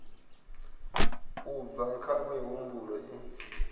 u bva kha mihumbulo i